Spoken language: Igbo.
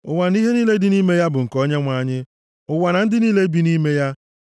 Ụwa na ihe niile dị nʼime ya bụ nke Onyenwe anyị; ụwa na ndị niile bi nʼime ya.